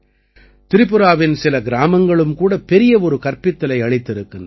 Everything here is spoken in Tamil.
திரிபுராவின் சில கிராமங்களும் கூட பெரிய ஒரு கற்பித்தலை அளித்திருக்கின்றன